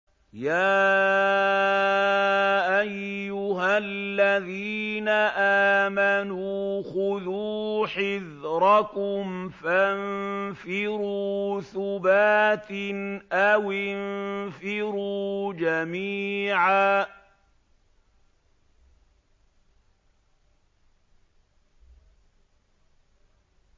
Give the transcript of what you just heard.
يَا أَيُّهَا الَّذِينَ آمَنُوا خُذُوا حِذْرَكُمْ فَانفِرُوا ثُبَاتٍ أَوِ انفِرُوا جَمِيعًا